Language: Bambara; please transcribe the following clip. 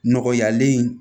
Nɔgɔyalen